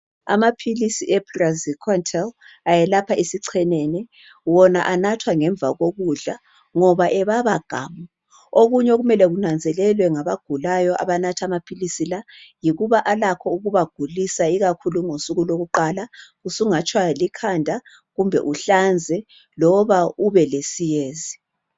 Amaphilisi ePraziquantal, ayelapha isichenene. Wona anathwa ngemva kokudla, ngoba ebaba gamu! Okunye okumele kunanzelelwe ngabagulayo abanatha amaphilisi la, yikuba alakho ukubagulisa, ikakhulu ngosuku lokuqala. Usungatshaywa likhanda, kumbe uhlanze kumbe ubelesiyezi.